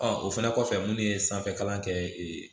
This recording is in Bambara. o fɛnɛ kɔfɛ minnu ye sanfɛ kalan kɛ